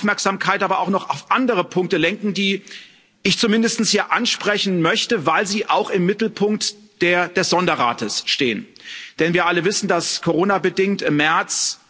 Ich will Ihre Aufmerksamkeit aber auch noch auf andere Punkte lenken, die ich zumindest hier ansprechen möchte, weil sie auch im Mittelpunkt des Sonderrates stehen, denn wir alle wissen, dass coronabedingt im März